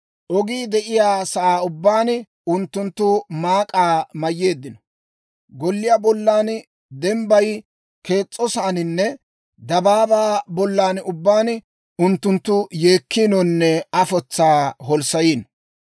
Ogii de'iyaa saan ubbaan unttunttu maak'aa mayyeeddino; golliyaa bollan dembbayi kees's'osaaninne dabaabaa bolla ubbaan unttunttu yeekkiinonne afotsaa holssayiino.